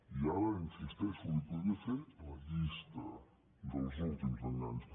i ara hi insisteixo li podria fer la llista dels últims enganys